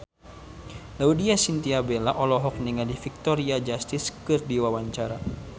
Laudya Chintya Bella olohok ningali Victoria Justice keur diwawancara